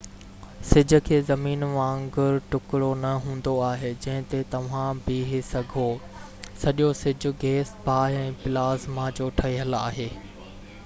سج کي زمين وانگر ٽُڪرو نہ هوندو آهي جنهن تي توهان بيهہ سگهو سڄو سج گيس باه ۽ پلازما جو ٺهيل آهي